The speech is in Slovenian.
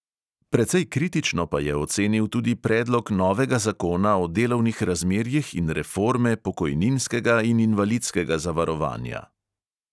Precej kritično pa je ocenil tudi predlog novega zakona o delovnih razmerjih in reforme pokojninskega in invalidskega zavarovanja.